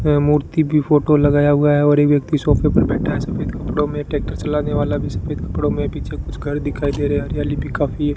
मूर्ति की फोटो लगाया हुआ है और एक व्यक्ति सोफे पर बैठा है सफेद कपड़ो में ट्रैक्टर चलाने वाला भी सफेद कपड़ो में पीछे कुछ घर दिखाई दे रहे हैं हरियाली भी काफी है।